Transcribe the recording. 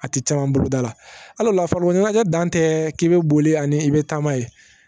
A tɛ caman bolo da la hal'o la farikolo ɲɛnajɛ dan tɛ k'i bɛ boli ani i bɛ taama ye